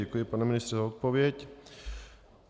Děkuji, pane ministře, za odpověď.